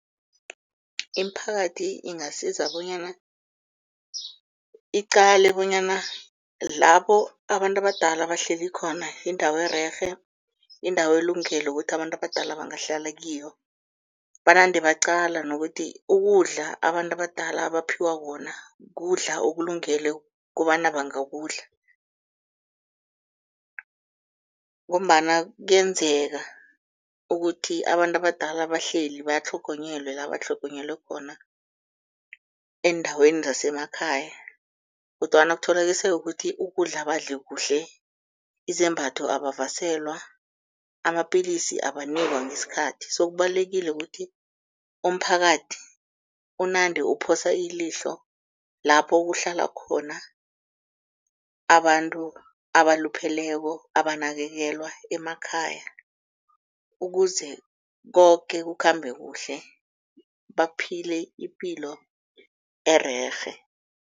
Imiphakathi ingasiza bonyana iqale bonyana lapho abantu abadala bahleli khona yindawo ererhe, yindawo elungele ukuthi abantu abadala bangahlala kiyo, banande baqala nokuthi ukudla abantu abadala abaphiwa khona kukudla okulungele kobana bangakudla. Ngombana kuyenzeka ukuthi abantu abadala bahleli bayatlhogonyelwe la batlhogonyelwe khona eendaweni zasemakhaya kodwana kutholakaliseke ukuthi ukudla abadli kuhle, izembatho abavaselwa, amapilisi abanikwa ngesikhathi. So kubalulekile kuthi umphakathi unande uphosa ilihlo lapho kuhlala khona abantu abalupheleko abanakekelwa emakhaya, ukuze koke kukhambe kuhle baphile ipilo ererhe.